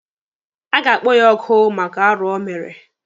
A ga-akpọ ya oku maka arụ o mere.